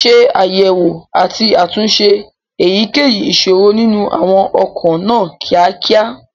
ṣe àyẹ̀wò àti àtúnṣe èyíkéyìí ìṣòro nínú àwọn ọkọ̀ náà ní kíákíá.